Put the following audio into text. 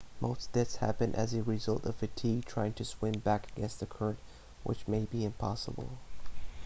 most deaths happen as result of fatigue trying to swim back against the current which may be impossible